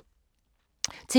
TV 2